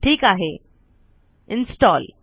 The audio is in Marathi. ठीक आहे इन्स्टॉल